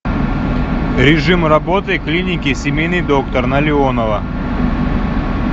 режим работы клиники семейный доктор на леонова